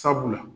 Sabula